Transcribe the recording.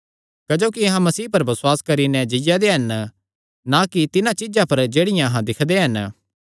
क्जोकि अहां मसीह पर बसुआस करी नैं जीआ दे हन ना कि तिन्हां चीज्जां पर जेह्ड़ियां अहां दिक्खदे दे हन